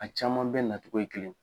A caman bɛɛ nacogo ye kelenye.